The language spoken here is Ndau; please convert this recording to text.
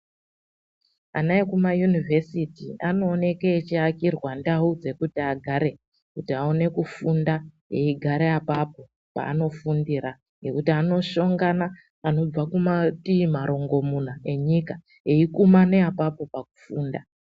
Ana ekumayunivhesiti anooke achiakirwa ndau dzekuti agare kuti aone kufunda eigara apapo paanofundira ngekuti anoshongana anobva kumatii marongomuna enyika eikumane apapo pakufunda.